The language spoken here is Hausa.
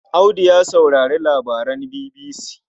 Audu ya saurari labaran BBC.